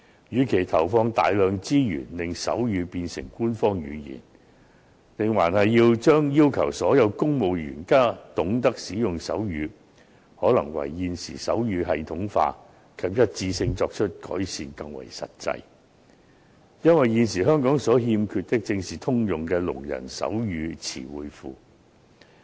與其投放大量資源令手語變成官方語言，要求所有公務員皆懂得使用手語，倒不如更為實際地加強現時手語的系統化及一致性。因為，現時香港所欠缺的，正是通用的聾人手語詞彙庫。